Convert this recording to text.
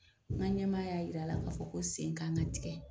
N ka ɲɛmaa y'a yira la k'a fɔ ko sen kan ka tigɛ.